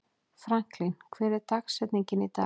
Franklin, hver er dagsetningin í dag?